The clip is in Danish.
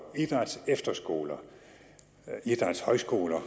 idrætsefterskoler idrætshøjskoler